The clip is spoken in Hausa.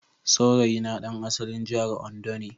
Saurayina ɗan asalin jihar Ondo ne